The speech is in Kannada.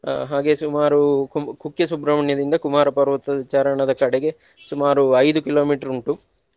ಅಹ್ ಹಾಗೆ ಸುಮಾರು ಕು~ ಕುಕ್ಕೆ ಸುಬ್ರಹ್ಮಣ್ಯದಿಂದ ಕುಮಾರ ಪರ್ವತ ಚಾರಣದ ಕಡೆಗೆ ಸುಮಾರು ಐದು kilometer ಉಂಟು.